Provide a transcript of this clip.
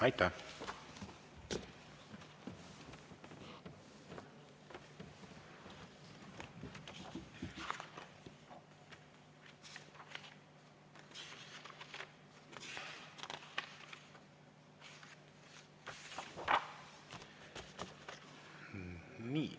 Aitäh!